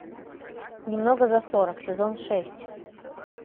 немного за сорок сезон шесть